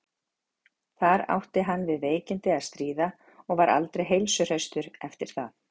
Þar átti hann við veikindi að stríða og var aldrei heilsuhraustur eftir það.